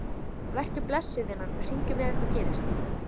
Vertu blessuð, vinan, við hringjum ef eitthvað gerist.